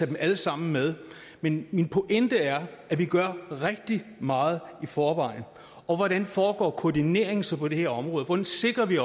dem alle sammen med men min pointe er at vi gør rigtig meget i forvejen og hvordan foregår koordineringen så på det her område hvordan sikrer vi